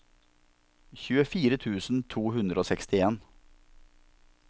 tjuefire tusen to hundre og sekstien